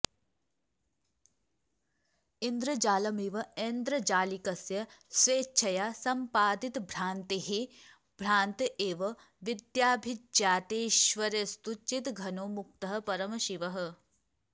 इन्द्रजालमिव ऐन्द्रजालिकस्य स्वेच्छया सम्पादितभ्रान्तेः भ्रान्त एव र्विद्याभिज्ञातेश्वर्यस्तु चिद्घनो मुक्तः परमशिवः